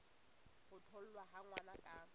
ho tholwa ha ngwana ka